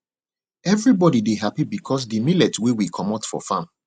everybody dey happy because de millet wey we comot for farm